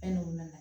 Fɛn dɔw nana